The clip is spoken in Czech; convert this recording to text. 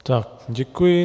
Tak děkuji.